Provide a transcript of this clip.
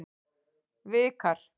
Vikar